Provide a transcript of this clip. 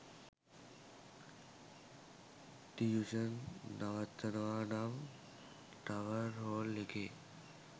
tuition නවත්වනවා නම් tower hall එකේ